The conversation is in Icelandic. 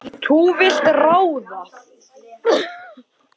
Þú vilt ráða.